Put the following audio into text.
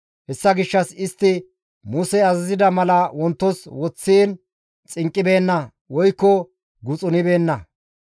Hessa gishshas istti Musey azazida mala wontos woththiin xinqqibeenna woykko guxunibeenna.